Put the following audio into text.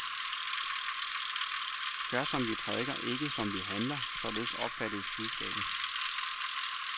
Gør som vi prædiker, ikke som vi handler, således opfattes budskabet.